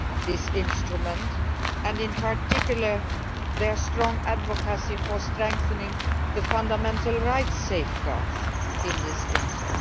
this instrument, and in particular their strong advocacy for strengthening the fundamental rights safeguards it contains.